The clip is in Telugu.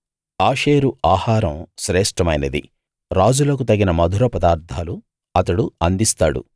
ఆషేరు ఆహారం శ్రేష్ఠమైనది రాజులకు తగిన మధుర పదార్దాలు అతడు అందిస్తాడు